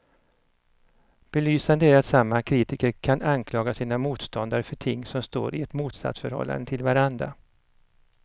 Belysande är att samma kritiker kan anklaga sina motståndare för ting som står i ett motsatsförhållande till varandra.